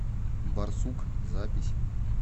барсук запись